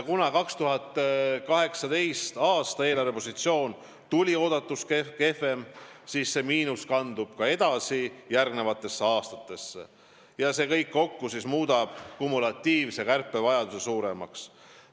2018. aasta eelarvepositsioon kujunes planeerituga võrreldes mitmel põhjusel kehvemaks, see miinus kandub edasi järgmistesse aastatesse ja see kõik kokku muudab kumulatiivse kärpe vajaduse suuremaks.